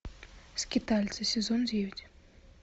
скитальцы сезон девять